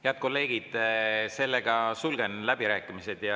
Head kolleegid, sulgen läbirääkimised.